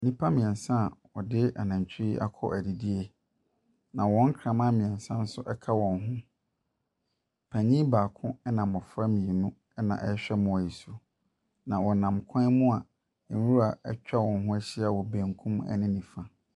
Nnipa mmeɛnsa a wɔde anantwie akɔ adidie, na wɔn nkrama meɛnsa nso ka wɔn ho. Panin baako na mmɔfra mmienu na wɔrehwɛ mmoa yi so, na wɔnam kwan mu a nwura atwa wɔn ho ahyia wɔ benkum ne nifa.